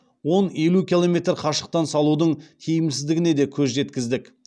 он елу километр қашықтан салудың тиімсіздігіне де көз жеткіздік